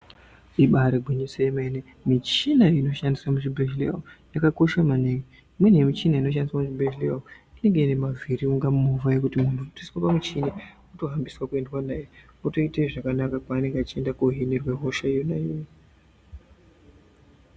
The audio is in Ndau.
Ibare gwinyiso remene ,michina inoshandiswe muzvibhedleya yakakosha maningi. Mimwe michini inoshandiswa muzvibhedleya inenge ine mavhiri kunge moova yekuti ukangoiswa pamuchini wotofambiswa kuendwa newe otoite zvakanaka kwaanenge achienda kunohinirwa hosha yona iyoyo.